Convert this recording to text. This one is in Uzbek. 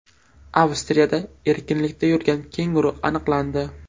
Avstriyada erkinlikda yurgan kenguru aniqlandi .